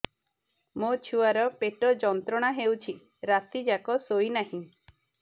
ମୋ ଛୁଆର ପେଟ ଯନ୍ତ୍ରଣା ହେଉଛି ରାତି ଯାକ ଶୋଇନାହିଁ